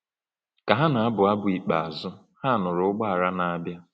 Ka ha na-abụ abụ ikpeazụ, ha nụrụ ụgbọala na-abịa.